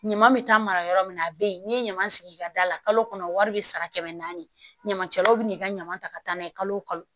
Ɲama bɛ taa mara yɔrɔ min na a bɛ yen n'i ye ɲama sigi i ka da la kalo kɔnɔ wari bɛ sara kɛmɛ naani ɲamancɛlaw bɛ n'i ka ɲama ta ka taa n'a ye kalo wo kalo